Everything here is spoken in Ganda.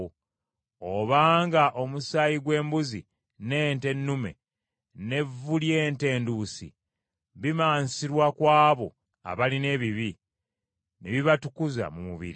Obanga omusaayi gw’embuzi, n’ente ennume, n’evvu ly’ente enduusi, bimansirwa ku abo abalina ebibi, ne bibatukuza mu mubiri;